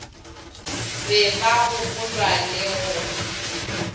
be ba gopolwa le go